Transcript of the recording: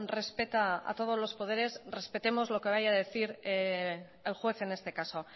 respeta a todos los poderes respetemos lo que vaya a decir el juez en este caso